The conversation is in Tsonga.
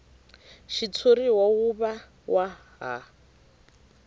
xitshuriwa wu va wa ha